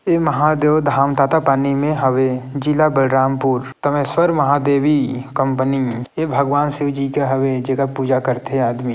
ये महादेव धाम तातापानी में हवे जिला बलरामपुर तमेश्वर महादेवी कंपनी ये भगवान शिवजी के हवे जेकर पूजा करते आदमी --